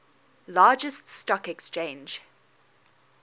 largest stock exchange